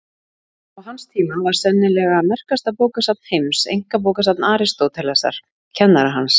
Á hans tíma var sennilega merkasta bókasafn heims einkabókasafn Aristótelesar, kennara hans.